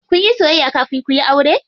Kunyi soyayya kafin kuyi aure?